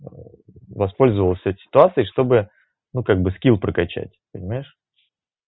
воспользовался этой ситуацией чтобы ну как бы скилл прокачать понимаешь